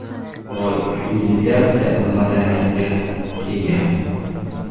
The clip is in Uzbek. Boy sivilizatsiya va madaniyatga ega.